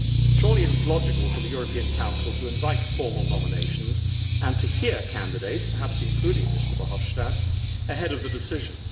Surely it is logical for the European Council to invite formal nominations and to hear candidates, perhaps including Mr Verhofstadt, ahead of the decision.